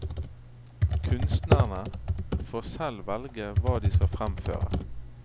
Kunstnerne får selv velge hva de skal fremføre.